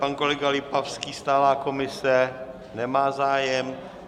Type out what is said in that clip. Pan kolega Lipavský, stálá komise - nemá zájem.